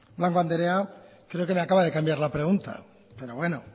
blanco andrea creo que me acaba de cambiar la pregunta pero bueno